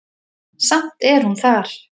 Samt er hún þar.